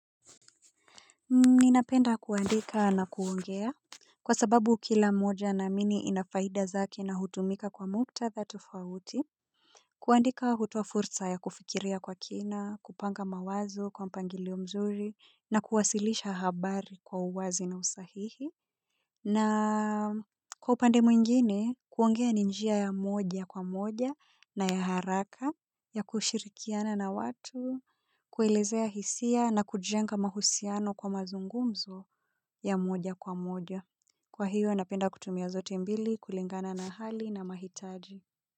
Ni napenda kuandika na kuongea, kwa sababu kila moja namini inafaida zake na hutumika kwa muktatha tofawuti. Kuandika hutoa furza ya kufikiria kwa kina, kupanga mawazo kwa mpangilio mzuri, na kuwasilisha habari kwa uwazi na usahihi. Na kwa upande mwingine, kuongea ni njia ya moja kwa moja na ya haraka ya kushirikiana na watu, kuelezea hisia na kujenga mahusiano kwa mazungumzo ya moja kwa moja. Kwa hiyo, napenda kutumia zote mbili, kulingana na hali na mahitaji.